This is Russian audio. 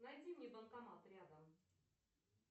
найди мне банкомат рядом